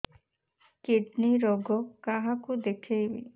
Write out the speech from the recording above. kidney ରୋଗ କାହାକୁ ଦେଖେଇବି